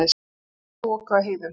Hálka og þoka á heiðum